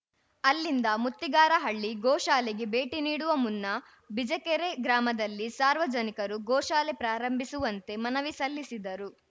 ಅಲ್ಲಿಂದ ಮುತ್ತಿಗಾರಹಳ್ಳಿ ಗೋಶಾಲೆಗೆ ಭೇಟಿ ನೀಡುವ ಮುನ್ನಾ ಬಿಜಿಕೆರೆ ಗ್ರಾಮದಲ್ಲಿ ಸಾರ್ವಜನಿಕರು ಗೋಶಾಲೆ ಪ್ರಾರಂಭಿಸುವಂತೆ ಮನವಿ ಸಲ್ಲಿಸಿದರು